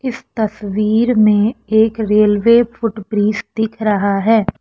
इस तस्वीर में एक रेलवे फुट ब्रिज दिख रहा है।